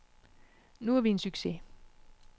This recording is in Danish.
Nu er vi en succes.